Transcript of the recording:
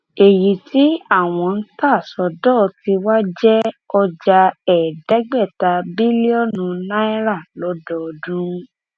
èyí tí àwọn ń ta sọdọ tiwa jẹ ọjà ẹẹdẹgbẹta bílíọnù náírà lọdọọdún